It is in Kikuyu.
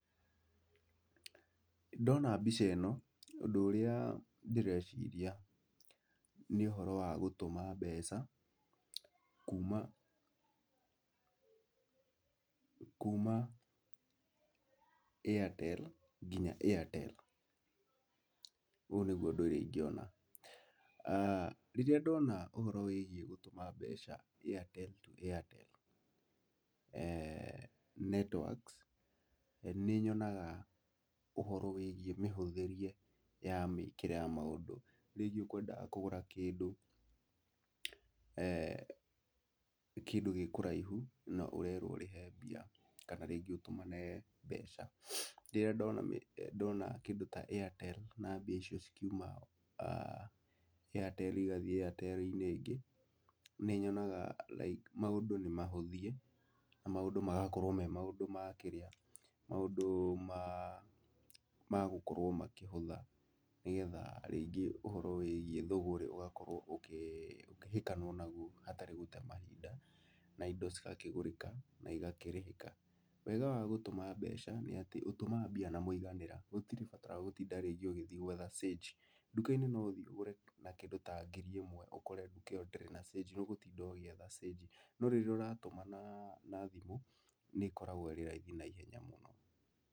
Ndona mbica ĩno ũndũ ũrĩa ndĩreciria nĩ ũhoro wa gũtũma mbeca kuma, kuma Airtel nginya Airtel, ũũ nĩguo ũndũ ũrĩa ingĩona. Rĩrĩa ndona ũhoro wĩgiĩ gũtũma mbeca Airtel to Airtel networks nĩ nyonaga ũhoro wĩgiĩ mĩhũthĩrie ya mĩĩkĩre ya maũndũ. Rĩngĩ ũkwendaga kũgũra kĩndũ, kĩndũ gĩ kũraihu na ũrerwo ũrĩhe mbia kana rĩngĩ ũtũmane mbeca. Rĩrĩa ndona kĩndũ ta Airtel na mbia icio cikiuma Airtel igathiĩ Airtel inĩ ĩngĩ niĩ nĩ nyonaga like maũndũ nĩ mahũthie na maũndũ magakorwo me maũndũ ma kĩrĩa, maũndũ ma, ma gũkorwo makĩhũtha, nĩgetha rĩngĩ ũhoro wĩgiĩ thũgũrĩ ũgakorwo ũkĩhĩtanwo naguo hatarĩ gũte mahinda. Na indo cigakĩgũrĩka na igakĩrĩhĩka. Wega wa gũtũma mbeca nĩ atĩ ũtũmaga mbia na mũiganĩra gũtirĩ bata wa gũtinda rĩngĩ ũgĩthiĩ gwetha canji. Nduka-inĩ no ũthiĩ ũgũre na kĩndũ ta ngiri ĩmwe ũkore nduka ĩyo ndĩrĩ na canji, rĩu ũgũtinda ũgĩetha canji no rĩrĩa ũratũmana na thimũ nĩ ĩkoragwo ĩrĩ raithi na ihenya mũno.